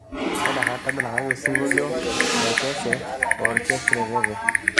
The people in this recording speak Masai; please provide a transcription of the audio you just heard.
tadalakaki osingolio le kesse e orchestre veve